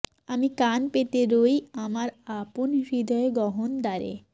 আমি কান পেতে রই আমার আপন হৃদয় গহন দ্বারে